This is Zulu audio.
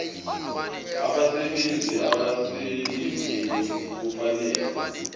abasebenzi abaselivini kufanele